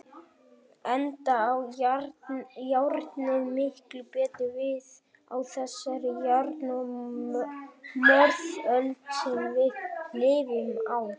Enda á járnið miklu betur við á þessari járn- og morðöld sem við lifum á.